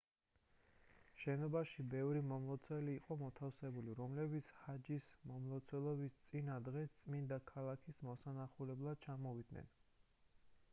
შენობაში ბევრი მომლოცველი იყო მოთავსებული რომლებიც ჰაჯის მომლოცველობის წინა დღეს წმინდა ქალაქის მოსანახულებლად ჩამოვიდნენ